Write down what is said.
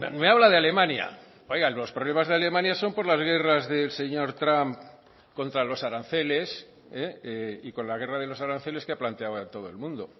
me habla de alemania oigan los problemas de alemania son por las guerras del señor trump contra los aranceles y con la guerra de los aranceles que ha planteado a todo el mundo